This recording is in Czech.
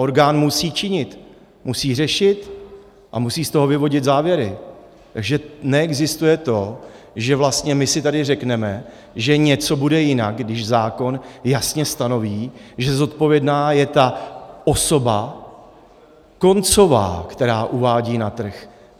Orgán musí činit, musí řešit a musí z toho vyvodit závěry, že neexistuje to, že vlastně my si tady řekneme, že něco bude jinak, když zákon jasně stanoví, že zodpovědná je ta osoba koncová, která uvádí na trh.